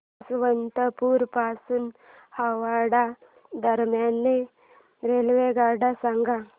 यशवंतपुर पासून हावडा दरम्यान रेल्वेगाड्या सांगा